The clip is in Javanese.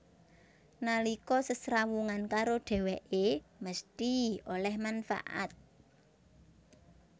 Nalika sesrawungan karo dhèwèké mesthi oleh manfaat